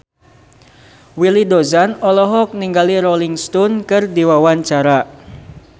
Willy Dozan olohok ningali Rolling Stone keur diwawancara